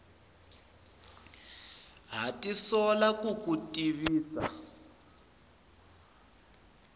ha tisola ku ku tivisa